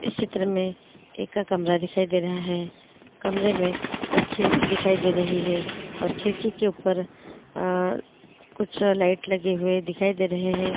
इस चित्र में एका कमरा दिखाई दे रहा है कमरे में एक खिड़की दिखाई दे रही है और खिड़की के ऊपर आ कुछ लाइट लगे हुए दिखाई दे रहे है।